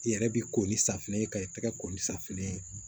I yɛrɛ bi ko ni safunɛ ye ka i tɛgɛ ko ni safunɛ ye